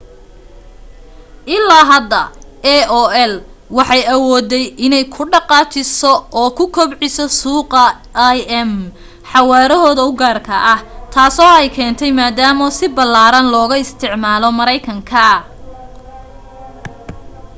ilaa hadda aol waxay awooday inay ku dhaqaajiso oo ku kubciso suuqa im xawaarahooda u gaarka ah taasoo ay keentay maadaama si ballaaran looga isticmaalo maraykanka